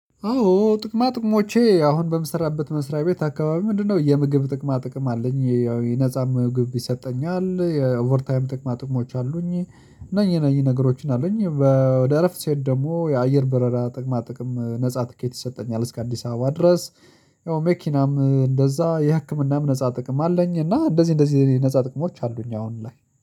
አዎ ጥቅማ ቅሞቼ አሁን በምሰራበት መስራቤት አከባቢ ምንድነው የምግብ ጥቅማ ጥቅም አለኝ የነፃ ምግብ ይሰጠኛል የኦቨር ታይም ጥቅማ ጥቅሞች አሉኝ እነኚ እነኚ ነገሮችን አሉኝ። ለእረፍት ስሄድ ደግሞ የአየር በረራ ጥቅማ ጥቅም ነፃ ትኬት ይሰጠኛል እስከ አዲስ አበባ ድረስ ያው መኪናም እንደዛ የህክምናም ነፃ ጥቅም አለኝ እና እንደዚህ እንደዚህ ነፃ ጥቅሞች አሉ አሁን ላይ